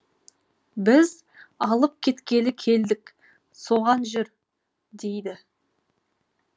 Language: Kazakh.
біз алып кеткелі келдік соған жүр дейді